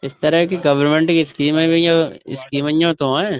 اس طرح کے گورنمنٹ کی سکیم تو ہے۔